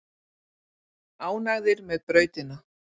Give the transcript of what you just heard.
Ánægðir með brautina